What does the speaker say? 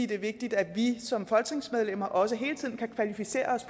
det er vigtigt at vi som folketingsmedlemmer også hele tiden kan kvalificere os